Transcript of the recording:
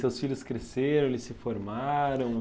Seus filhos cresceram, eles se formaram?